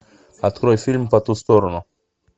открой фильм по ту сторону